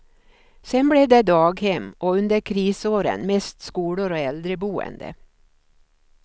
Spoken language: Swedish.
Sedan blev det daghem och under krisåren mest skolor och äldreboende.